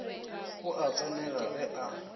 o a tsenega ge a